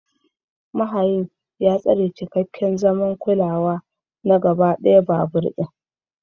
Mahayin ya tsara cikakken zaman kulawa na gaba ɗaya babur ɗin.